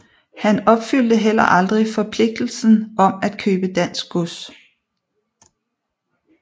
Han opfyldte heller aldrig forpligtelsen om at købe dansk gods